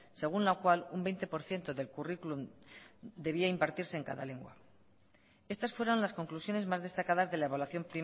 según la cual un veinte por ciento del currículum debía impartirse en cada lengua estas fueron las conclusiones más destacadas de la evaluación